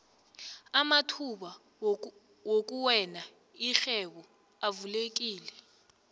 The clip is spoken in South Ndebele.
amathuba wokuwena irhwebo avulekile